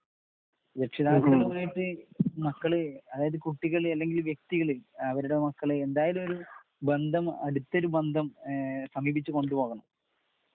രക്ഷിതാക്കളെ സംബന്ധിച്ച് മക്കള് അതായതു കുട്ടികള് ഏതെങ്കിലും വ്യക്തികള് അവരുടെ മക്കള് എന്തായാലും ഒരു ബന്ധം അടുത്തൊരു ബന്ധം സമീപിച്ചു കൊണ്ടുപോണം